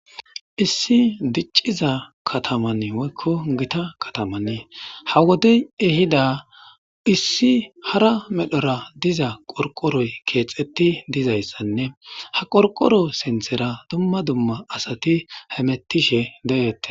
issi dicciza katamann woykko gita katamanne ha wodey ehida issi hara medhora diza qorqoroy keexetti dizayssanne ha qorqoro sinthera dumma dumma asati hemettishe de7ette